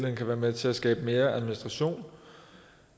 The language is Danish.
kan være med til at skabe mere administration